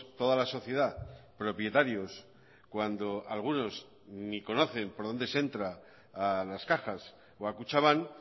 toda la sociedad propietarios cuando algunos ni conocen por donde se entra a las cajas o a kutxabank